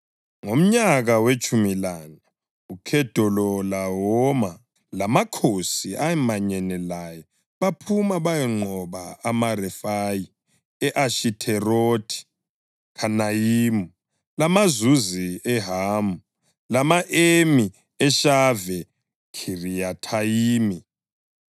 Ngomnyaka wetshumi lane, uKhedolawoma lamakhosi ayemanyene laye baphuma bayanqoba amaRefayi e-Ashitherothi Khanayimi, lamaZuzi eHamu, lama-Emi eShave Khiriyathayimi